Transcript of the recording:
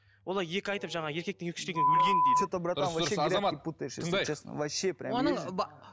олай екі айтып жаңағы еркектің екі сөйлегені өлгені дейді